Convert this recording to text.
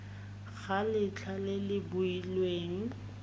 ga letlha le le beilweng